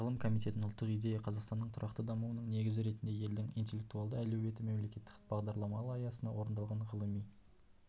ғылым комитетінің ұлттық идея қазақстанның тұрақты дамуының негізі ретінде елдің интеллектуалды әлеуеті мемлекеттік бағдарламалары аясында орындалған ғылыми